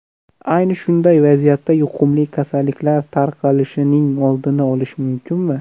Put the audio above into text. Ayni shunday vaziyatda yuqumli kasalliklar tarqalishining oldini olish mumkinmi?